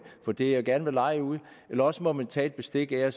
for det man gerne vil leje ud eller også må man tage bestik af